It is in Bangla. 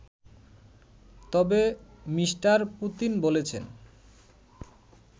তবে মি. পুতিন বলেছেন